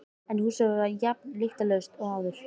En húsið var jafn lyktarlaust og áður.